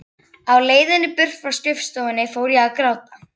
Á leiðinni burt frá skrifstofunni fór ég að gráta.